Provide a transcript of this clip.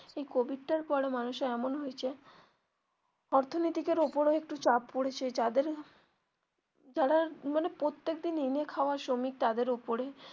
এই কোভিডটার পরে মানুষের এমন হয়েছে অর্থনীতির ওপরেও একটু চাপ পড়েছে যাদের যারা মানে প্রত্যেক দিন এনে খাওয়া শ্রমিক তাদের ওপরে.